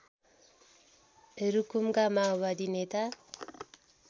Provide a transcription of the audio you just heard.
रुकुमका माओवादी नेता